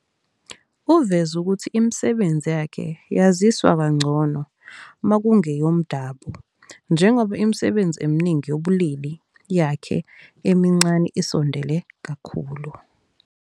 Uveze ukuthi imisebenzi yakhe yaziswa kangcono makungeyomdabu njengoba imisebenzi eminingi yobulili yakhe emincane isondele kakhulu.